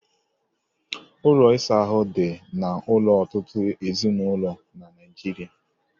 Ụlọ ịsa ahụ dị n'ụlọ ọtụtụ ezinụlọ na Naịjiria